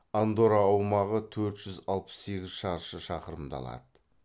андорра аумағы төрт жүз алпыс сегіз шаршы шақырымды алады